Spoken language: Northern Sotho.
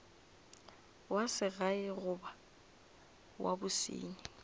wa segae goba wa bosenyi